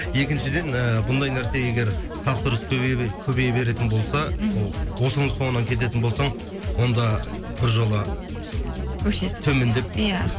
екіншіден і бұндай нәрсе егер тапсырыс көбейе беретін болса мхм ол осының соңына кететін болсаң онда бір жола өшесің төмендеп иә